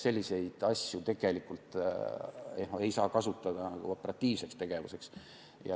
Selliseid asju ei saa kasutada operatiivseks tegevuseks.